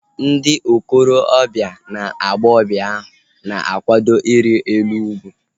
Ndị okorobia na agbọghọbịa ahu na-akwado iri elu ugwu